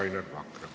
Palun, Rainer Vakra!